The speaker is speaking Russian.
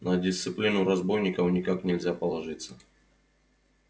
на дисциплину разбойников никак нельзя положиться